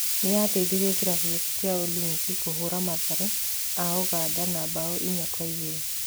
Nĩateithirie kĩrabu gĩake kĩa Ulinzi kũhũra Mathare a Ũganda na mbao inya kwa igĩrĩ